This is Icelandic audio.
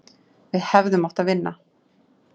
Við hefðum átt að vinna.